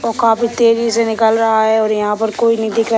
ओ काफी तेज़ी से निकल रहा है और यहाँ पर कोई नहीं दिख रहा --